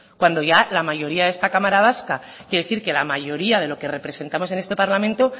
cuando ya la mayoría de esta cámara vasca quiero decir que la mayoría de los que representamos este parlamento